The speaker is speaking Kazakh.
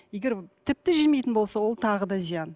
егер тіпті жемейтін болса ол тағы да зиян